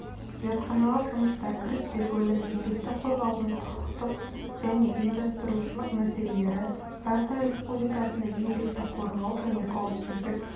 зертханалық жұмыста кіріспе бөлім еңбекті қорғаудың құқықтық және ұйымдастырушылық мәселелері қазақстан республикасында еңбекті қорғау және қауіпсіздік